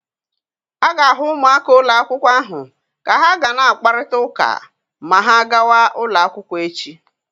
A ga-ahụ ụmụaka ụlọ akwụkwọ ahụ ka ha ga na-akparịta ụka maa ha gàwá ụlọ akwụkwọ echi.